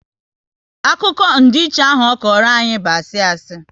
Akụkọ ndiiche ahụ ọ kọrọ anyị bụ asị asị